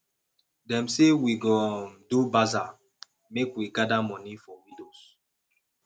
dem say we go um do bazaar make we gather moni for widows